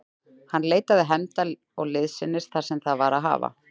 Hann leitaði hefnda og liðsinnis þar sem það var að hafa.